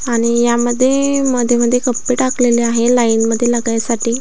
आणि यामधे मध्ये मध्ये कप्पे टाकलेले आहे लाईन मध्ये लागायसाठी.